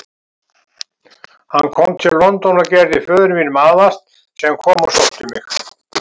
Hann kom til London og gerði föður mínum aðvart, sem kom og sótti mig.